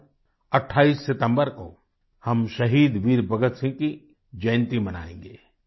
कल 28 सितम्बर को हम शहीद वीर भगतसिंह की जयन्ती मनायेंगे